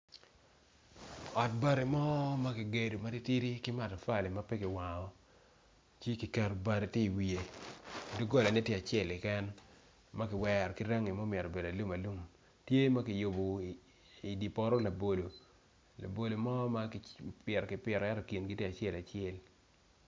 Ot bati mo ma kigedo ki matafali ma pe kiwango tye ki keto bati i wiye doggola tye acel ma kiwero ki range ma obedo alum alum tye ma kiyubo i dye poto labolo labolo tye acel acel